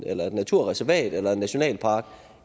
eller et naturreservat eller i en nationalpark